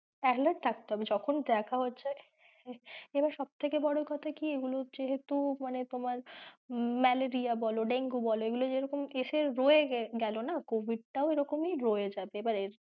Alert থাকতে হবে যখন দেখে যাচ্ছে, এবার সব থেকে বড় কোথা যেহেতু হচ্ছে তোমার malaria বলো dengue বলো এগুলো যেরকম এসে রয়ে গেলো না covid টাও এরকমই রয়ে যাবে এবার,